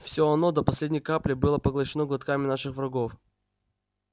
все оно до последней капли было поглощено глотками наших врагов